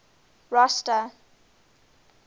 rosta